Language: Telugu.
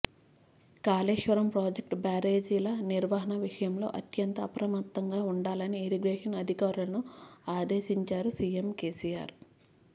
కాళేశ్వరం ప్రాజెక్టు బ్యారేజీల నిర్వహణ విషయంలో అత్యంత అప్రమత్తంగా ఉండాలని ఇరిగేషన్ అధికారులను ఆదేశించారు సీఎం కేసీఆర్